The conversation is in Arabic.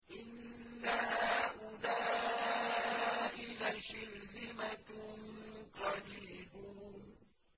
إِنَّ هَٰؤُلَاءِ لَشِرْذِمَةٌ قَلِيلُونَ